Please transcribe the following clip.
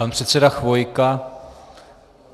Pan předseda Chvojka.